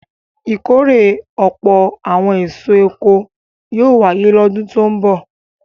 Ìkórè ọ̀pọ̀ àwọn èso oko yóò wáyé lọ́dún tó ń bọ̀.